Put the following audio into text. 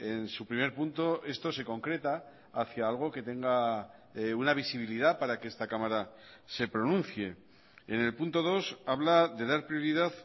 en su primer punto esto se concreta hacia algo que tenga una visibilidad para que esta cámara se pronuncie en el punto dos habla de dar prioridad